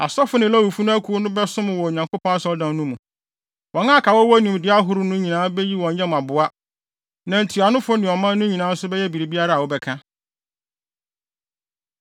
Asɔfo ne Lewifo akuw no bɛsom wɔ Onyankopɔn Asɔredan no mu. Wɔn a aka a wɔwɔ nimdeɛ ahorow no nyinaa beyi wɔn yam aboa, na ntuanofo ne ɔman no nyinaa nso bɛyɛ biribiara a wobɛka.”